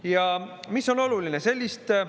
Ja mis on oluline?